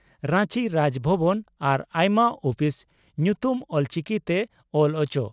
ᱨᱟᱧᱪᱤ ᱨᱟᱡᱽ ᱵᱷᱚᱵᱚᱱ ᱟᱨ ᱟᱭᱢᱟ ᱩᱯᱤᱥ ᱧᱩᱛᱩᱢ ᱚᱞᱪᱤᱠᱤᱛᱮ ᱚᱞ ᱚᱪᱚ ᱾